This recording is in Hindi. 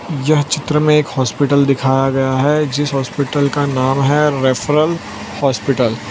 यह चित्र में एक हॉस्पिटल दिखाया गया है जिस हॉस्पिटल का नाम है रेफरल हॉस्पिटल ।